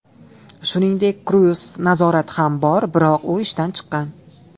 Shuningdek, kruiz-nazorat ham bor, biroq u ishdan chiqqan.